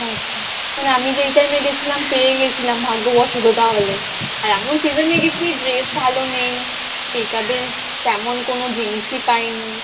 আচ্ছা মানে আমি যে এই time এ গেছিলাম পেয়ে গেছিলাম ভাগ্যবশত তাহলে আর এমন season এ গেছি dress ভালো নেই makeup এর তেমন কোনো জিনিসই পাইনি